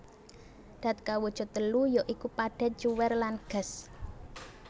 Dat kawujud telu ya iku padhet cuwèr lan gas